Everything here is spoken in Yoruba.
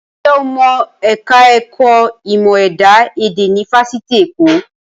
Ǹjẹ́ o mọ ẹ̀ka ẹ̀kọ́ ìmọ̀ ẹ̀dá èdè ní Fáṣitì Èkó?